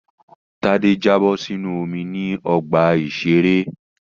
Tádé jábọ̀ sínú omi ní ọgbà-ìṣeré